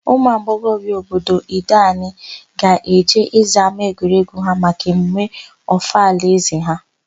Ụmụagbọghọbia obodo Ideanị ga-eje ịza ámáegwuregwu ha maka emume Ọfala ézē ha.